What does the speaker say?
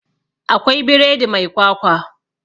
Akwai biredi mai kwakwa